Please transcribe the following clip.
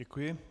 Děkuji.